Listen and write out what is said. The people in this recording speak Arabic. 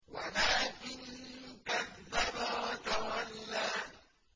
وَلَٰكِن كَذَّبَ وَتَوَلَّىٰ